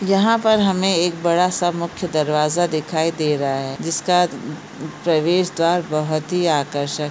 यहा पर हमें एक बड़ा सा मुख्य दरवाजा दिखाई दे रहा है जिसका ह-ह- प्रवेश द्वार बहुत ही आकर्षक--